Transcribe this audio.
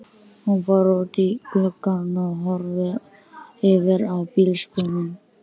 Hún fór út í glugga og horfði yfir á bílskúrinn.